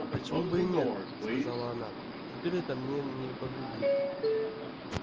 а почему бы и нет оказала она теперь это мне не повредит